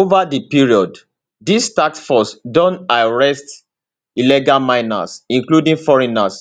ova di period dis task force don arrest some illegal miners including foreigners